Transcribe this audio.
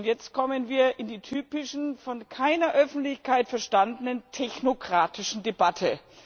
Jetzt kommen wir in die typische, von keiner Öffentlichkeit verstandene technokratische Debatte.